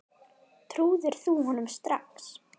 Trúðir þú honum strax?